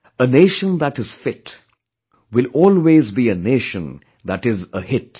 A Nation that is fit, will always be a nation that is a hit